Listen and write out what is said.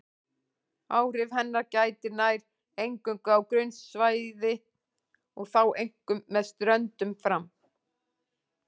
Áhrifa hennar gætir nær eingöngu á grunnsævi og þá einkum með ströndum fram.